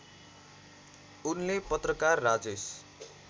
उनले पत्रकार राजेश